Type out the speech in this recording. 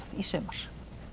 í sumar